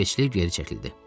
İsveçli geri çəkildi.